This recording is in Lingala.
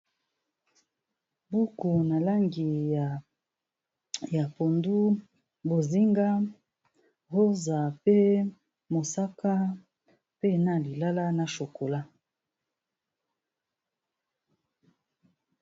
Buku na langi ya pondu, bozinga, rosa pe mosaka, pe na lilala na chocola .